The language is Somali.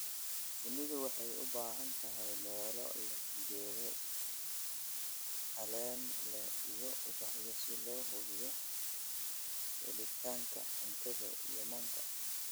Shinnidu waxay u baahan tahay meelo leh geedo caleen leh iyo ubaxyo si loo hubiyo helitaanka cuntada iyo manka.